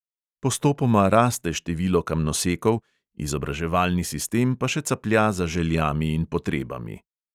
Postopoma raste število kamnosekov, izobraževalni sistem pa še caplja za željami in potrebami.